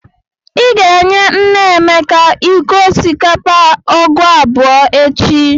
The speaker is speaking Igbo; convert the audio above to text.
Ị ga-enye nne Emeka iko osikapa ọgụ abụọ echi!